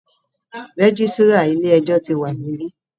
Registrar ilé ẹjọ́ tí wa níbí.